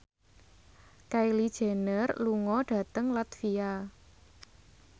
Kylie Jenner lunga dhateng latvia